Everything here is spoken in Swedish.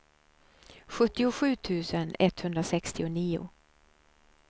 sjuttiosju tusen etthundrasextionio